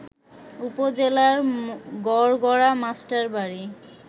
উপজেলার গড়গড়া মাস্টারবাড়ি